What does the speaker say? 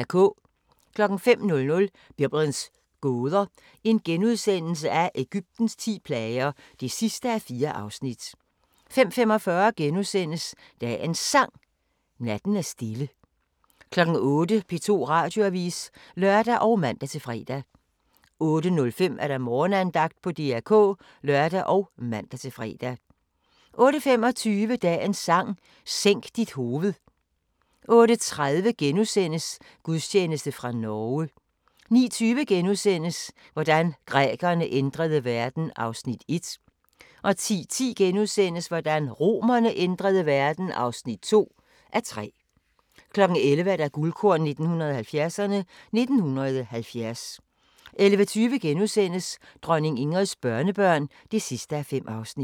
05:00: Biblens gåder – Egyptens ti plager (4:4)* 05:45: Dagens Sang: Natten er stille * 08:00: P2 Radioavis (lør og man-fre) 08:05: Morgenandagten på DR K (lør og man-fre) 08:25: Dagens Sang: Sænk dit hoved 08:30: Gudstjeneste fra Norge * 09:20: Hvordan grækerne ændrede verden (1:3)* 10:10: Hvordan romerne ændrede verden (2:3)* 11:00: Guldkorn 1970'erne: 1970 11:20: Dronning Ingrids børnebørn (5:5)*